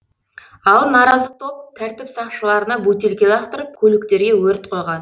ал наразы топ тәртіп сақшыларына бөтелке лақтырып көліктерге өрт қойған